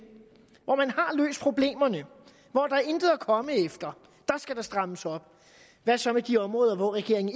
hvor man har løst problemerne hvor der intet er at komme efter og der skal der strammes op hvad så med de områder hvor regeringen